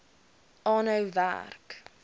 aanhou werk